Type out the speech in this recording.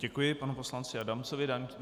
Děkuji panu poslanci Adamcovi.